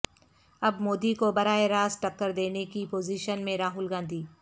اب مودی کو براہ راست ٹکر دینے کی پوزیشن میں راہل گاندھی